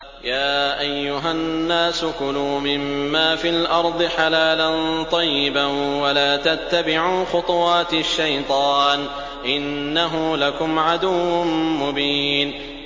يَا أَيُّهَا النَّاسُ كُلُوا مِمَّا فِي الْأَرْضِ حَلَالًا طَيِّبًا وَلَا تَتَّبِعُوا خُطُوَاتِ الشَّيْطَانِ ۚ إِنَّهُ لَكُمْ عَدُوٌّ مُّبِينٌ